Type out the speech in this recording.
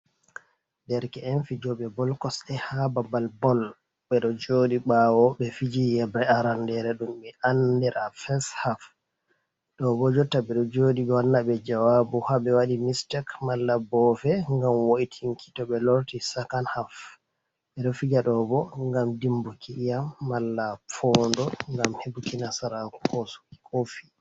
Derke en fijoɓe bol kosɗe ha babal bol, ɓeɗo joɗi ɓawo be fiji yebre arandere ɗum min andira fes haf, ɗo ɓo jotta ɓeɗo joɗi gonna ɓe jawabu ha ɓe wadi mistek mala boofe ngam woitinki to be lorti sakan haf, ɓeɗo fija ɗobo ngam dimbuki iyam mala foondo ngam hebuki nasarako ko kofi.